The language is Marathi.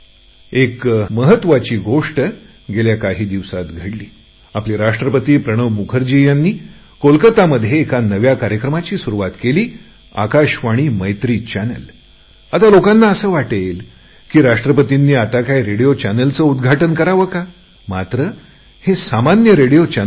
एक महत्त्वाची गोष्ट गेल्या काही दिवसात घडली आपले राष्ट्रपती प्रणव मुखर्जी यांनी कोलकातामध्ये एका नव्या कार्यक्रमाची सुरुवात केली आकाशवाणी मैत्री चॅनल आता लोकांना असे वाटेल की राष्ट्रपतींनी आता काय रेडियोच्या चॅनेलच उद्घाटन करावे का मात्र हे सामान्य रेडियोचे चॅनेल नाही